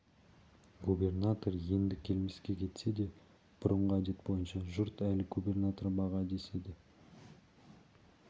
губернатор енді келмеске кетсе де бұрынғы әдет бойынша жұрт әлі губернатор бағы деседі